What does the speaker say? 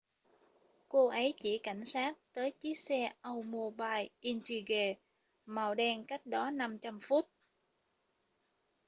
cô ấy chỉ cảnh sát tới chiếc xe oldsmobile intrigue màu đen cách đó 500 foot